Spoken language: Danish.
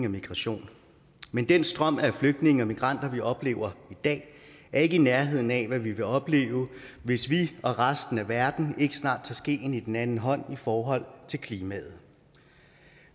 og migration men den strøm af flygtninge og migranter vi oplever i dag er ikke i nærheden af hvad vi vil opleve hvis vi og resten af verden ikke snart tager skeen i den anden hånd i forhold til klimaet